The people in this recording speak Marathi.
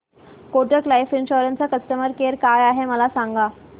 कोटक लाईफ इन्शुरंस चा कस्टमर केअर काय आहे मला सांगा